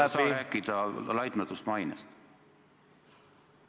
... ei saa rääkida laitmatust mainest.